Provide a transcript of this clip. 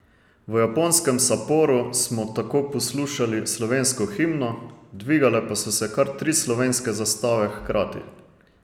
V japonskem Saporu smo tako poslušali slovensko himno, dvigale pa so se kar tri slovenske zastave hkrati.